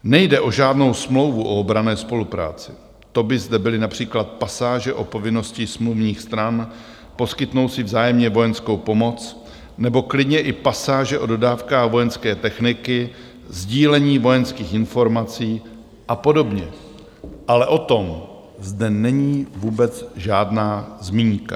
Nejde o žádnou smlouvu o obranné spolupráci, to by zde byly například pasáže o povinnosti smluvních stran poskytnout si vzájemně vojenskou pomoc nebo klidně i pasáže o dodávkách vojenské techniky, sdílení vojenských informací a podobně, ale o tom zde není vůbec žádná zmínka.